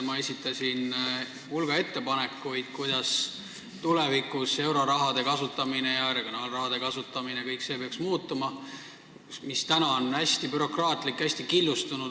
Ma esitasin hulga ettepanekuid, kuidas tulevikus peaks muutuma kogu see euro- ja regionaalraha kasutamine, mis on praegu hästi bürokraatlik ja hästi killustunud.